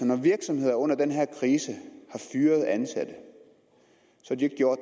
når virksomheder under den her krise har fyret ansatte har de jo